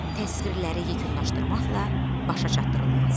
Təsvirləri yekunlaşdırmaqla başa çatdırılması.